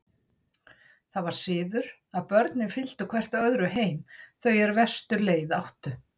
Það var siður að börnin fylgdu hvert öðru heim, þau er verstu leið áttu.